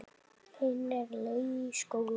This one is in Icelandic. Hin á leið í skóla.